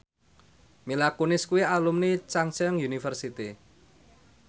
Mila Kunis kuwi alumni Chungceong University